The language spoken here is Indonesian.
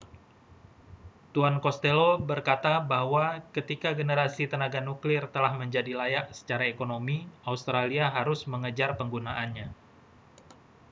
tuan costello berkata bahwa ketika generasi tenaga nuklir telah menjadi layak secara ekonomi australia harus mengejar penggunaannya